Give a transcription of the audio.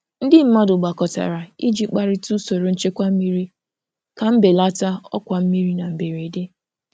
Ndị mmadụ gbakọtara iji kparịta usoro nchekwa mmiri ka mbelata ọkwa mmiri na mberede.